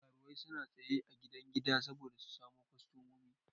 Karuwai suna tsaya a gidan gida saboda su samu kostomomi.